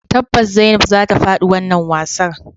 Tabbas zainab zata fadi wannan wasan.